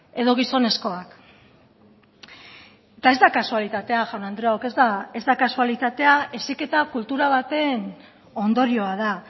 edo gizonezkoak eta ez da kasualitatea jaun andreok ez da kasualitatea heziketa kultura baten ondorioa da